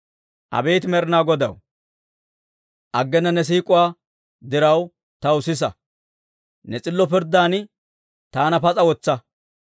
Abeet Med'inaa Godaw, aggena ne siik'uwaa diraw, tawaa sisa; ne s'illo pirddaadan taana pas'a wotsa.